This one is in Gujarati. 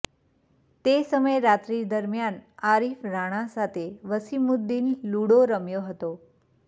તે સમયે રાત્રી દરમિયાન આરીફ રાણા સાથે વસીમુદ્દીન લૂડો રમ્યો હતો